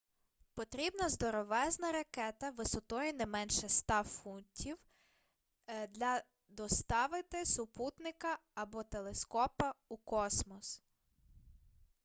потрібна здоровезна ракета висотою не менше 100 футів для доставити супутника або телескопа у космос